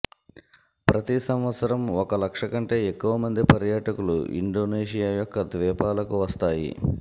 ప్రతి సంవత్సరం ఒక లక్ష కంటే ఎక్కువ మంది పర్యాటకులు ఇండోనేషియా యొక్క ద్వీపాలకు వస్తాయి